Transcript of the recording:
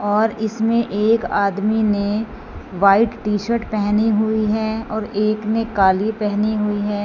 और इसमें एक आदमी ने व्हाइट टी शर्ट पहनी हुई है और एक ने काली पहनी हुई है।